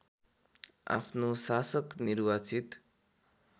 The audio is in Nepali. आफ्नो शासक निर्वाचित